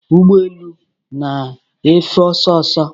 Ụgbọ elu na-efe ọsọ ọsọ